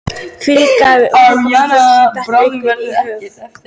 Þvílík gæfa að umgangast fólk sem dettur alltaf eitthvað í hug.